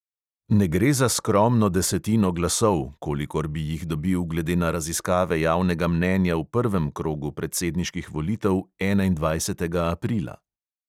Ne gre za skromno desetino glasov, kolikor bi jih dobil glede na raziskave javnega mnenja v prvem krogu predsedniških volitev enaindvajsetega aprila.